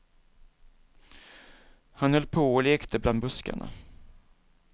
Han höll på och lekte bland buskarna.